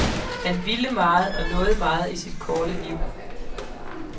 Han ville meget og nåede meget i sit korte liv.